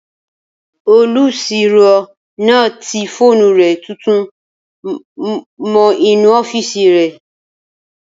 Olùsirò náà ti fóònù rẹ̀ tuntun mọ́ inú ọ́fìsì rẹ̀